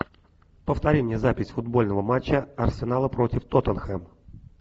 повтори мне запись футбольного матча арсенала против тоттенхэм